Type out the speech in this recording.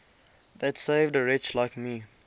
that saved a wretch like me